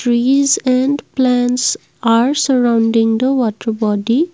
Trees and plants are surrounding the water body.